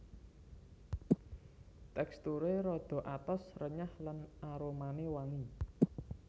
Teksturé rada atos renyah lan aromané wangi